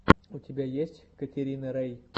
у тебя есть катерина рей